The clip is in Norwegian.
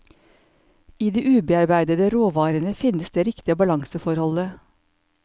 I de ubearbeidede råvarene finnes det riktige balanseforholdet.